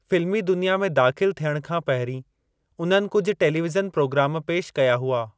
फिल्मी दुनिया में दाख़िलु थियणु खां पहिरीं, उन्हनि कुझु टेलीविज़न पिरोग्राम पेशि कया हुआ।